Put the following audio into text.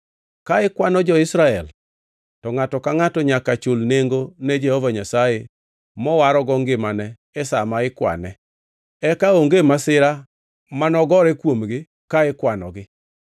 “Ka ikwano jo-Israel, to ngʼato ka ngʼato nyaka chul nengo ne Jehova Nyasaye mowarogo ngimane e sa ma ikwane. Eka onge masira mane ogore kuomgi ka ikwanogi.